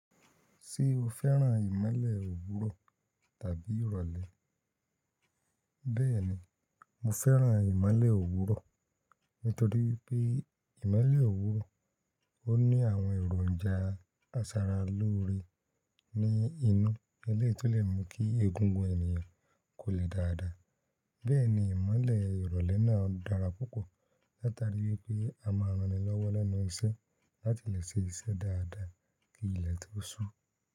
Ṣé o fẹ́ràn ìmọ́lẹ̀ òwúrọ̀ tàbí ìrọ̀lẹ́? Bẹ́ẹ̀ni, mo fẹ́ràn ìmọ́lẹ̀ òwúrọ̀ nítorí pé ìmọ́lẹ̀ òwúrọ̀ ó ní àwọn èròǹjà asara lóore ní inú eleyii tó lè mú kí egungun ènìyàn kò le dáadáa. Bẹ́ẹ̀ni, ìmọ́lẹ̀ ìrọ̀lẹ́ náà dára púpọ̀ látari wípé a máa rán ni lọ́wọ́ lẹ́nu iṣẹ́ láti lè ṣe iṣẹ́ dáadáa kí ilẹ̀ tó sú.